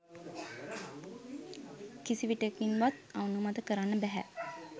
කිසි විටෙකින්වත් අනුමත කරන්න බැහැ